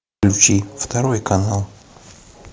включи второй канал